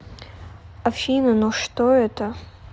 афина но что это